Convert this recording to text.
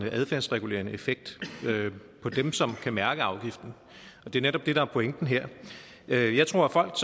en adfærdsregulerende effekt på dem som kan mærke afgiften og det er netop det der er pointen her jeg jeg tror at folk